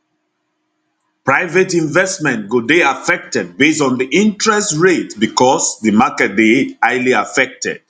private investment go dey affected base on di interest rate becos di market dey highly affected